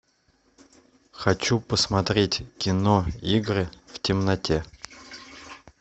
хочу посмотреть кино игры в темноте